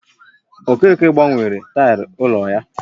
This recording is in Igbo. Okeke gbanwere taịlị n'ụlọ ya